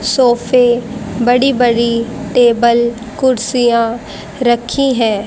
सोफे बड़ी बड़ी टेबल कुर्सियां रखी हैं।